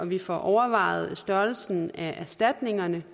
vi får overvejet størrelsen af erstatningerne